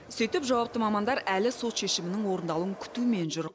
сөйтіп жауапты мамандар әлі сот шешімінің орындалуын күтумен жүр